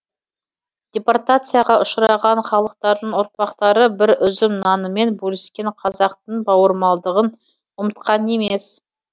департацияға ұшыраған халықтардың ұрпақтары бір үзім нанымен бөліскен қазақтың бауырмалдығын ұмытқан емес